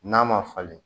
N'a ma falen